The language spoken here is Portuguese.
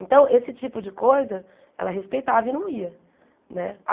Então, esse tipo de coisa, ela respeitava e não ia, né?